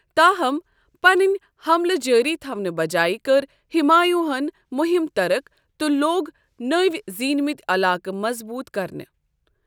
تاہم، پنٕنۍ حملہٕ جٲری تھاونہٕ بجایہ كٕر ہُمایوٗن ہن مُہم طرک تہٕ لوٚگ نٔوۍ زینِمٕتۍ علاقہٕ مضبوٗت كرنہِ۔